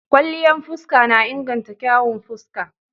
Kwalliyan fuska na inganta kyawun fuska.